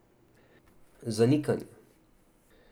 Zanikanje.